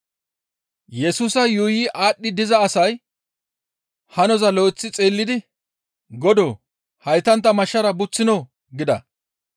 Yesusa yuuyi aadhdhi diza asay hanoza lo7eththi xeellidi, «Godoo! Haytantta mashshara buththinoo?» gida.